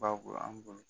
Bago an bolo